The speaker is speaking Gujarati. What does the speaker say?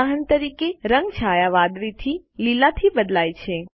ઉદાહરણ તરીકે રંગ છાયા વાદળી થી લીલા થી બદલાય છે